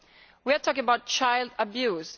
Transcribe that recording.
We are talking about child abuse.